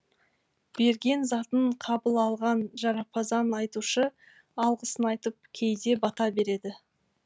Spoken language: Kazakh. берген затын қабыл алған жарапазан айтушы алғысын айтып кейде бата береді